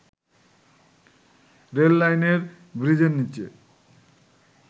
রেললাইনের ব্রীজের নিচে